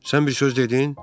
Sən bir söz dedin?